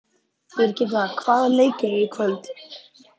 Birgitta, hvaða leikir eru í kvöld?